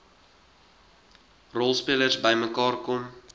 rolspelers bymekaar kom